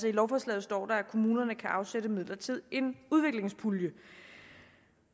i lovforslaget står der at kommunerne kan afsætte midler til en udviklingspulje